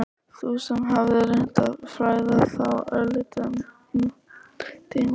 Sú sem hafði reynt að fræða þá örlítið um nútímalist?